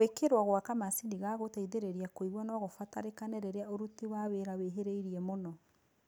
Gwĩkĩrwo gwa kamacini ga gũteithĩrĩria kũigua nogũbatarĩkane rĩrĩa ũruti wa wĩra wĩhĩrĩirie mũno